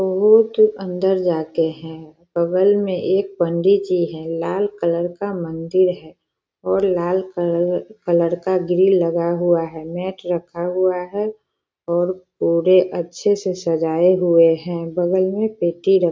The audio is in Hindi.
बहोत अंदर जाके है बगल में एक पंडित जी हैं लाल कलर का मंदिर है और लाल कलर कलर का ग्रिल लगा हुआ है और मैट रखा हुआ है और पूरे अच्छे से सजाये हुए हैं बगल में पेटी --